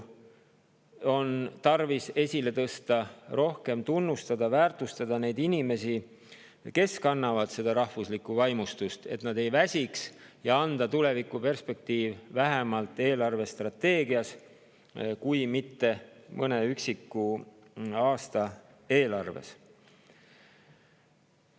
On tarvis esile tõsta, rohkem tunnustada ja väärtustada neid inimesi, kes kannavad seda rahvuslikku vaimustust, selleks et nad ei väsiks, ja anda tulevikuperspektiiv vähemalt eelarvestrateegias kui mitte mõne üksiku aasta eelarves.